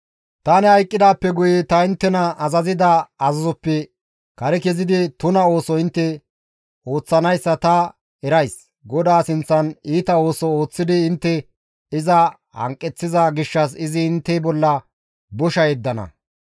Tani hayqqidaappe guye ta inttena azazida azazoppe kare kezidi tuna ooso intte ooththanayssa ta erays; GODAA sinththan iita ooso ooththidi intte iza hanqeththiko izi intte bolla bosha yeddana.»